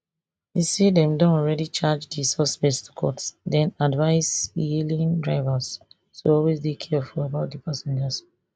e say dem don already charge di suspects to court den advise ehailing drivers to always dey careful about di passengers